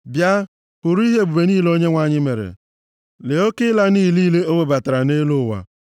Bịa, hụrụ ihe ebube niile Onyenwe anyị mere, lee oke ịla nʼiyi niile o webatara nʼelu ụwa.